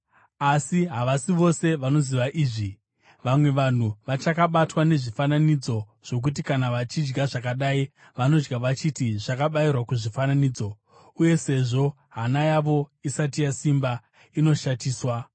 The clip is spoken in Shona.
Asi havasi vose vanoziva izvi. Vamwe vanhu vachakabatwa nezvifananidzo zvokuti kana vachidya zvakadai vanodya vachiti zvakabayirwa kuzvifananidzo, uye sezvo hana yavo isati yasimba, inoshatiswa.